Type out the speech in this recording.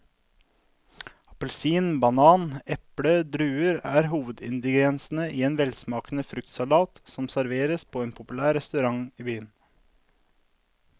Appelsin, banan, eple og druer er hovedingredienser i en velsmakende fruktsalat som serveres på en populær restaurant i byen.